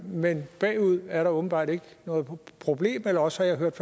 men bagud er der åbenbart ikke noget problem eller også har jeg hørt